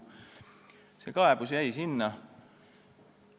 See kaebus jäi sinnapaika.